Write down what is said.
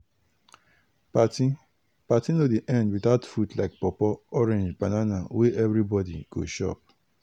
party party no dey end without fruit like pawpaw orange banana wey everybody go chop.